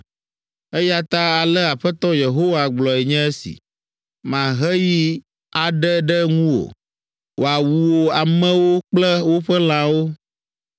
“ ‘Eya ta ale Aƒetɔ Yehowa gblɔe nye esi: “Mahe yi aɖe ɖe ŋuwò, wòawu wò amewo kple woƒe lãwo.